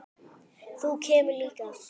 Þú kemur líka!